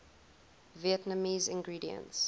vietnamese ingredients